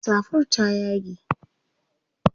safar ta ya yage